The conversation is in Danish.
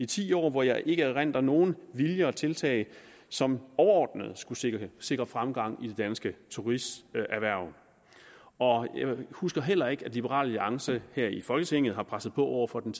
ti år hvor jeg ikke erindrer nogen vilje og tiltag som overordnet skulle sikre sikre fremgang i det danske turisterhverv og jeg husker heller ikke at liberal alliance her i folketinget har presset på over for den